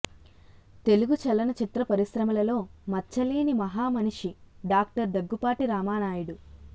తెలుగు చలన చిత్ర పరిశ్రమలలో మచ్చలేని మహా మనిషి డాక్టర్ దగ్గుపాటి రామానాయుడు